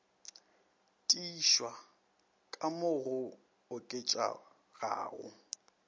tiišwa ka mo go oketšegago